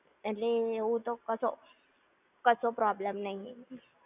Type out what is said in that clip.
એટલે એવું તો કશો, કશો problem નઈ